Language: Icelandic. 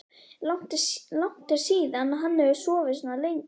Langt er síðan hann hefur sofið svona lengi.